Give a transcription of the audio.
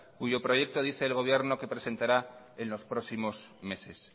cuyo proyecto dice el gobierno que presentará en los próximos meses